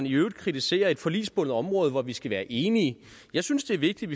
i øvrigt kritiserer et forligsbundet område hvor vi skal være enige jeg synes det er vigtigt